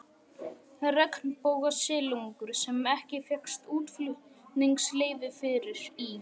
Regnbogasilungur, sem ekki fékkst útflutningsleyfi fyrir, í